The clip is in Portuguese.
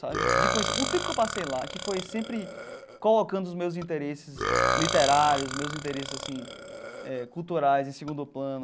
Sabe de conhecer o tempo que eu passei lá, que foi sempre colocando os meus interesses literários, os meus interesses assim eh culturais em segundo plano,